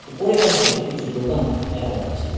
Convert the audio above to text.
উপরে অংশে কিছু দোকান দেখা যাচ্ছে।